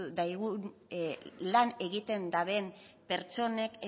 daigun lan egiten duten pertsonek